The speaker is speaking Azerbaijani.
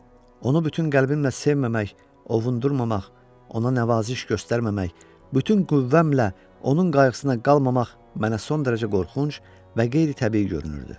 onu bütün qəlbimlə sevməmək, ovundurrmamaq, ona nəvaziş göstərməmək, bütün qüvvəmlə onun qayğısına qalmamaq mənə son dərəcə qorxunc və qeyri-təbii görünürdü.